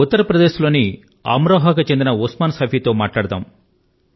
ఉత్తర్ ప్రదేశ్ లోని అమ్ రోహా కు చెందిన ఉస్మాన్ సైఫీ తో మాట్లాడదాము